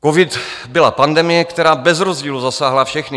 Covid byla pandemie, která bez rozdílu zasáhla všechny.